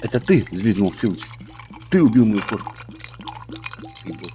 это ты взвизгнул филч ты убил мою кошку